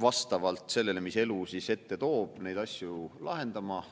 vastavalt sellele, mis elu ette toob, neid asju kuidagi lahendama.